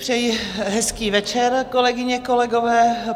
Přeji hezký večer, kolegyně, kolegové.